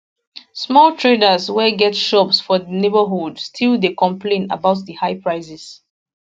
small traders wey get shops for di neighbourhood still dey complain about di high prices